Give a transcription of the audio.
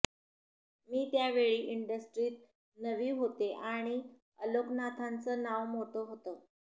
मी त्या वेळी इंडस्ट्रीत नवी होते आणि अलोकनाथांचं नाव मोठं होतं